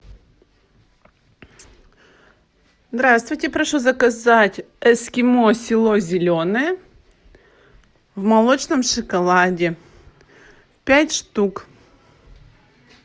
здравствуйте прошу заказать эскимо село зеленое в молочном шоколаде пять штук